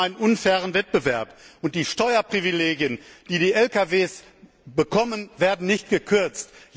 Wir haben einen unfairen Wettbewerb. Die Steuerprivilegien, die die Lkw bekommen, werden nicht gekürzt.